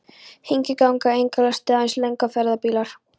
Hingað ganga engar lestir, aðeins langferðabílar.